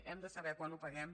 hem de saber quan ho paguem